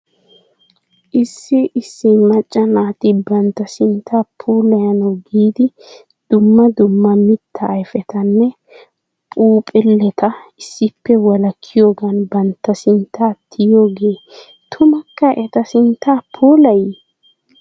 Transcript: Issi issi macca naati bantta sinttaa puulayanaw giidi dumma dumma mittaa ayfetanne phuuphuleta issippe wolakkiyoogan bantta sintta tiyiyoogee tumukka eta sintta puulayii?